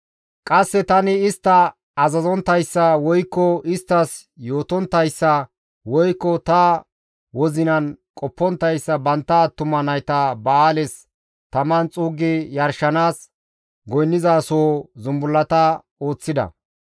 Qasse tani istta azazonttayssa, woykko isttas yootonttayssa, woykko ta wozinan qopponttayssa bantta attuma nayta Ba7aales taman xuuggi yarshanaas goynnizasoho zumbullata ooththida.